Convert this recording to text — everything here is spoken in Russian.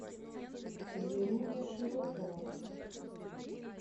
веруня широкова